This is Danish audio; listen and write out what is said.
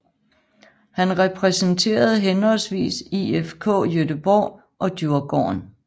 Han repræsenterede henholdsvis IFK Göteborg og Djurgården